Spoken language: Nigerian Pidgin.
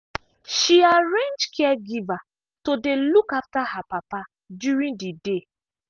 she arrange caregiver to dey look after her papa during the day.